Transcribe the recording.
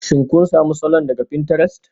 Shin kun sami salon daga pinterest?